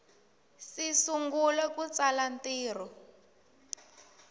si sungula ku tsala ntirho